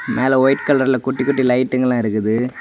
மேல வைட் கலர்ல குட்டி குட்டி லைட்டுங்கலாம் இருக்குது.